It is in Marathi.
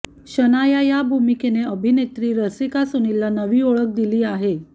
शनाया या भूमिकेने अभिनेत्री रसिक सुनीलला नवी ओळख दिली आहे